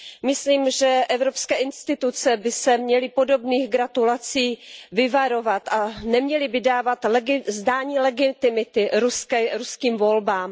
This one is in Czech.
Myslím, že evropské instituce by se měly podobných gratulací vyvarovat a neměly by dávat zdání legitimity ruským volbám.